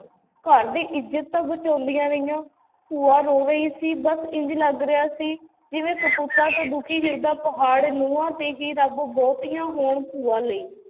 ਘਰ ਦੀ ਇੱਜਤ ਤਾਂ ਬਚਾਉਂਦੀਆਂ ਰਹੀਆਂ, ਭੂਆ ਰੋ ਰਹੀ ਸੀ ਬਸ ਇੰਞ ਲੱਗ ਰਿਹਾ ਸੀ ਜਿਵੇਂ ਕਪੁੱਤਾਂ ਤੋਂ ਦੁਖੀ ਹਿਰਦਾ ਪਹਾੜ ਨਹੁੰਆਂ ਤੇ ਹੀ ਰੱਬ ਬਹੁਤੀਆਂ ਹੋਣ ਭੂਆ ਲਈ।